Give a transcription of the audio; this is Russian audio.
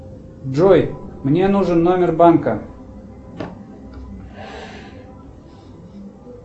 джой мне нужен номер банка